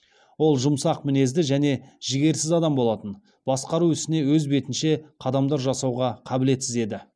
ол жұмсақ мінезді және жігерсіз адам болатын басқару ісіне өз бетінше қадамдар жасауға қабілетсіз еді